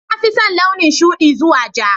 Na fi son launin shuɗi zuwa ja